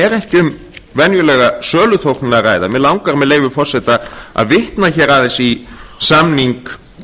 er ekki um venjulega söluþóknun að ræða mig langar með leyfi forseta að vitna aðeins í samning